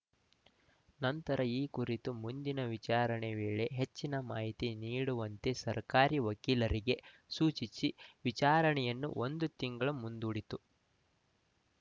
ನಂತರ ಈ ಕುರಿತು ಮುಂದಿನ ವಿಚಾರಣೆ ವೇಳೆ ಹೆಚ್ಚಿನ ಮಾಹಿತಿ ನೀಡುವಂತೆ ಸರ್ಕಾರಿ ವಕೀಲರಿಗೆ ಸೂಚಿಸಿ ವಿಚಾರಣೆಯನ್ನು ಒಂದು ತಿಂಗಳು ಮುಂದೂಡಿತು